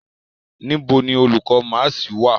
Nibo ni olukọ maasi wa?